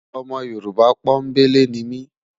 Ọmọ yorùbá pò n belé nimi